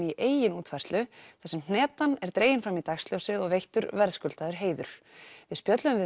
í eigin útfærslu þar sem hnetan er dregin fram í dagsljósið og veittur verðskuldaður heiður við spjölluðum við